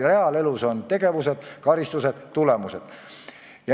Reaalses elus on tegevused, karistused ja tulemused.